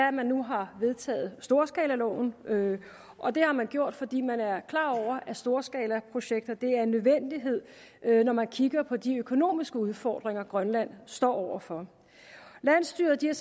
at man nu har vedtaget storskalaloven og det har man gjort fordi man er klar over at storskalaprojekter er en nødvendighed når man kigger på de økonomiske udfordringer grønland står over for landsstyret har